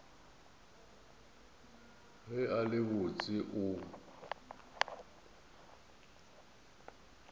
ge a le botse o